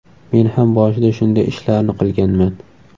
Men ham boshida shunday ishlarni qilganman.